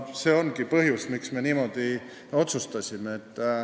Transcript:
See ongi põhjus, miks me niimoodi otsustasime.